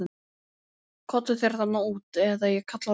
Komdu þér þarna út eða ég kalla á lögregluna.